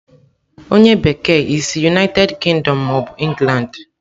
onye bekee, i si United Kingdom ma obu England?